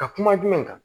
Ka kuma jumɛn kan